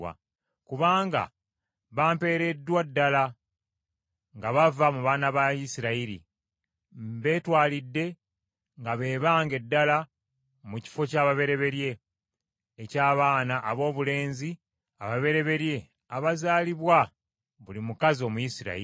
Kubanga bampeereddwa ddala nga bava mu baana ba Isirayiri. Mbeetwalidde nga be bange ddala mu kifo ky’ababereberye, eky’abaana aboobulenzi ababereberye abazaalibwa buli mukazi Omuyisirayiri.